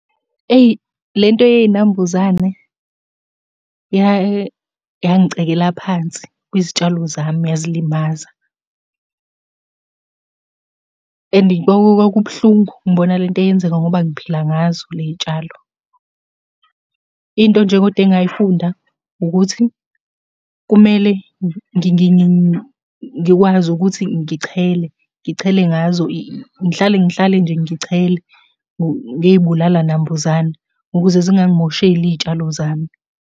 Eyi, lento yey'nambuzane yangicekela phansi kwezitshalo zami yazilimaza, and kwakubuhlungu ngibona le nto yenzeka ngoba ngiphila ngazo le y'tshalo. Into nje koda engayifunda ukuthi, kumele ngikwazi ukuthi ngichele, ngichele ngazo, ngihlale ngihlale nje ngichele, ngey'bulala nambuzane, ukuze zingangimosheli iy'tshalo zami.